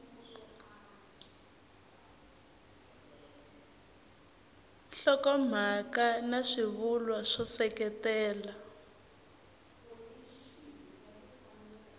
nhlokomhaka na swivulwa swo seketela